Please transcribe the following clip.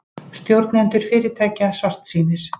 Stjórnendur fyrirtækja svartsýnir